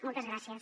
moltes gràcies